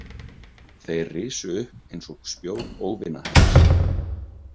Þeir risu upp eins og spjót óvinahers.